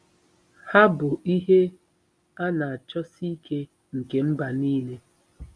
Ha bụ “ihe a na-achọsi ike nke mba nile.”